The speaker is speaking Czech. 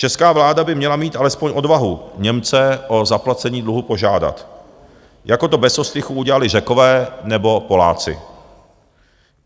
Česká vláda by měla mít alespoň odvahu Němce o zaplacení dluhu požádat, jako to bez ostychu udělali Řekové nebo Poláci.